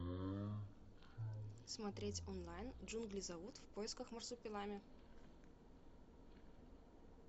смотреть онлайн джунгли зовут в поисках марсупилами